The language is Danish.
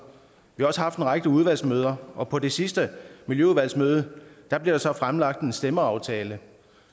vi har også haft en række udvalgsmøder og på det sidste miljøudvalgsmøde blev der så fremlagt en stemmeaftale